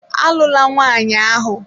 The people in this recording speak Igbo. Alụla nwaanyị ahụ.